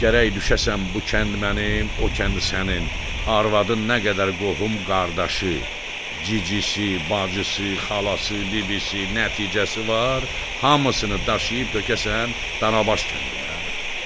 Gərək düşəsən bu kənd mənim, o kənd sənin, arvadın nə qədər qohum qardaşı, cicisi, bacısı, xalası, bibisi, nəticəsi var, hamısını daşıyıb tökəsən Danabaş kəndinə?